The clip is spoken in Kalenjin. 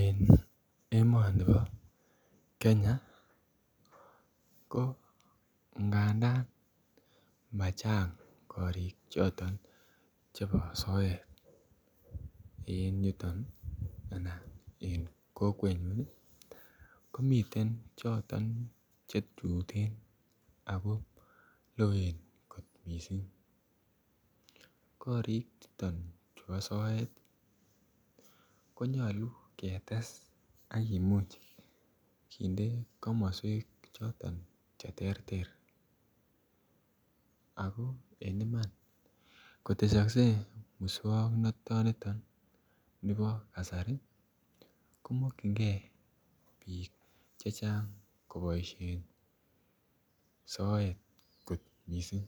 En emoni bo kenya ko ngandan machang korik choton chebo soet en yuton enan en kokwenyun nii komiten choton chetuten ako loen kot missing. Korik chuton chubo soet konyolu ketes akimuch kinde. Komoswek choto cheterter ako en Iman kotesokse muswoknoniton nibo kasari komokingee bik chechang koboishen soet kot missing.